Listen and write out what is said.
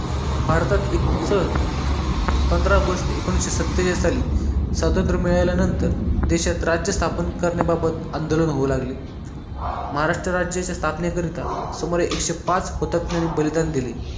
भारतात इसवी सन पंधरा ऑगस्ट एकोणविसशे सतेचाळीस सली स्वातंत्र्य मिळाल्यानंतर देशात राज्य स्थापन करण्याबाबत आंदोलन होऊ लागले महाराष्ट्र राज्याच्या स्थापनेकरिता सुमारे एकशे पाच हुतात्म्याने बलिदान दिले